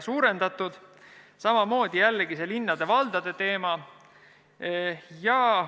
Samamoodi oli seal jällegi see linnade ja valdade teema.